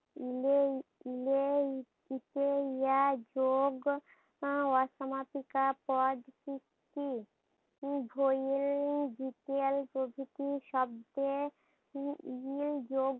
যোগ আহ অসমাপিকা পদ সৃষ্টি। প্রভৃতি শব্দে